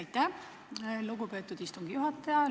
Aitäh, lugupeetud istungi juhataja!